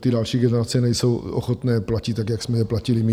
ty další generace nejsou ochotné platit tak, jako jsme je platili my.